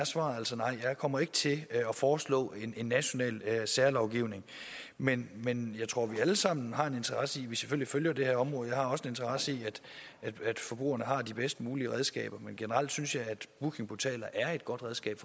svaret altså nej jeg kommer ikke til at foreslå en national særlovgivning men men jeg tror at vi alle sammen har en interesse i at vi selvfølgelig følger det her område jeg har også en interesse i at forbrugerne har de bedst mulige redskaber men generelt synes jeg at bookingportaler er et godt redskab